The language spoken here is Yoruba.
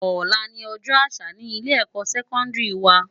Òlá ni òjò ásà ni ilé èkò sèkòndiri wá